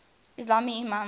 ismaili imams